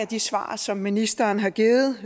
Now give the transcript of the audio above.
de svar som ministeren har givet